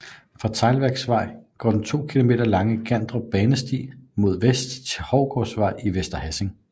Fra Teglværksvej går den 2 km lange Gandrup Banesti mod vest til Hovgårdsvej i Vester Hassing